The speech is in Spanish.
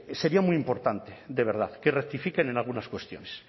sería muy importante de verdad que rectifiquen en algunas cuestiones